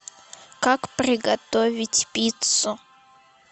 как приготовить пиццу